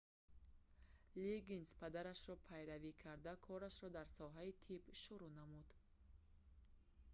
лиггинс падарашро пайравӣ карда корашро дар соҳаи тиб шуруъ намуд